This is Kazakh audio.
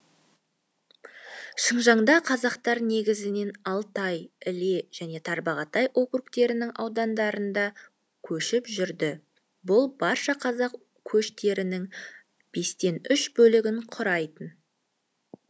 шыңжаңда қазақтар негізінен алтай іле және тарбағатай округтерінің аудандарында көшіп жүрді бұл барша қазақ көштерінің бестен үш бөлігін құрайтын